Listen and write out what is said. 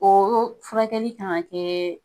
Ooo furakɛli k'an ka kɛɛɛ.